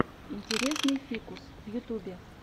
интересный фикус в ютубе